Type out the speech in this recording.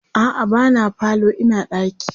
a'a ba na falo Ina ɗaki